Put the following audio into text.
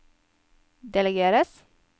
delegeres